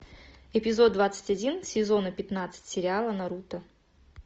эпизод двадцать один сезона пятнадцать сериала наруто